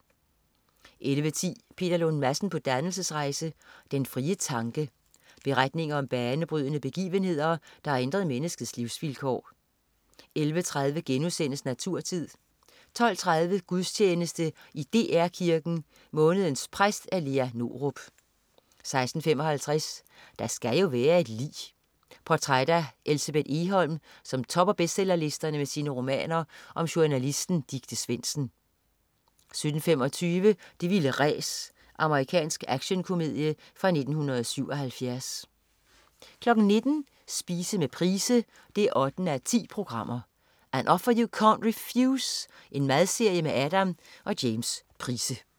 11.10 Peter Lund Madsen på dannelsesrejse. Den frie tanke. Beretninger om banebrydende begivenheder, der har ændret menneskets livsvilkår 11.30 Naturtid* 12.30 Gudstjeneste i DR Kirken. Månedens præst, Lea Norup 16.55 Der skal jo være et lig. Portræt af Elsebeth Egholm, som topper bestsellerlisterne med sine romaner om journalisten Dicte Svendsen 17.25 Det vilde ræs. Amerikansk actionkomedie fra 1977 19.00 Spise med Price 8:10. "An Offer You Can't Refuse". Madserie med Adam og James Price